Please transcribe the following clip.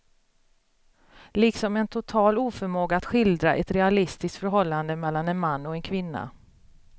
Liksom en total oförmåga att skildra ett realistiskt förhållande mellan en man och en kvinna.